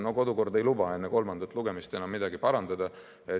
No kodukord paraku ei luba enne kolmandat lugemist enam midagi parandada.